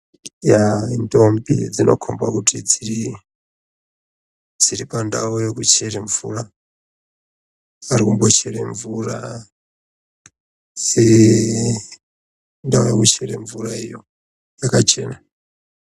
Yaa indombi, dzinokhomba kuti dziri, dziri pandau yekuchere mvura, dzirikumbochere mvura dzii dziri ndaa kuchere mvura iyo yakachena.